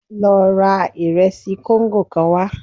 Lọ ra ìresì kóńgò kan wá